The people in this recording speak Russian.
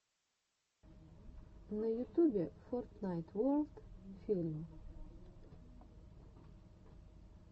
на ютубе фортнайт ворлд фильм